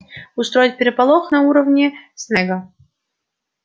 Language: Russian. устроить переполох на уроке снегга